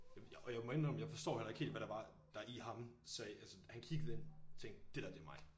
Jamen jeg og jeg må indrømme jeg forstår heller ikke helt hvad der var der i ham der sagde altså han kiggede ind tænkte dét der det mig